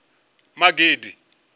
magidi